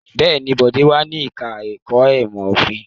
Bẹ́ẹ̀ ni, Bọ̀dé wà ní ẹ̀ka-ẹ̀kọ́ ìmọ̀-òfin.